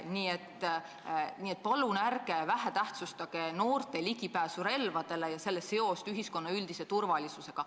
Nii et palun ärge alatähtsustage noorte ligipääsu relvadele ja selle seost ühiskonna üldise turvalisusega.